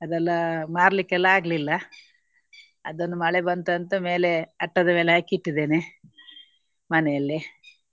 ಅದೆಲ್ಲ ಮಾರ್ಲಿಕ್ಕೆಲ್ಲ ಆಗ್ಲಿಲ್ಲ. ಅದನ್ನು ಮಳೆ ಬಂತಂತ ಮೇಲೆ ಅಟ್ಟದ ಮೇಲೆ ಹಾಕಿ ಇಟ್ಟಿದ್ದೇನೆ ಮನೆಯಲ್ಲಿ.